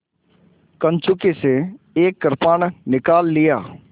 कंचुकी से एक कृपाण निकाल लिया